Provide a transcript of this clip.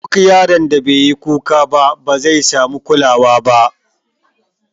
Duk yaron da beyi kuka ba, bazai samu kulawa ba.